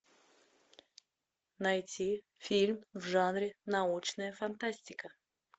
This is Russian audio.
найти фильм в жанре научная фантастика